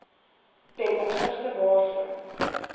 ten opsigte waarvan